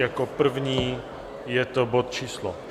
Jako první je to bod číslo